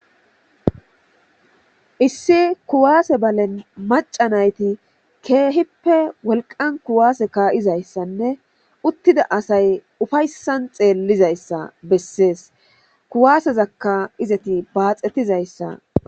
Issi kuwase balen macca nayti keehippe wolqan kuwase ka'izaysanne utida asatida asati ufaysan xelizaysa beses, kuwasezaka izeti baaxetizaysa ...